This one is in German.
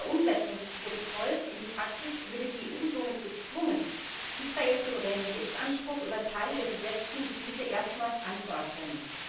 Bei Umsetzung des Protokolls in die Praxis würde die EU somit gezwungen, Israels Souveränitätsanspruch über Teile der besetzten Gebiete erstmals anzuerkennen.